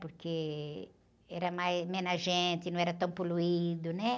Porque era mais, menos gente, não era tão poluído, né?